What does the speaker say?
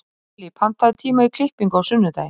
Kellý, pantaðu tíma í klippingu á sunnudaginn.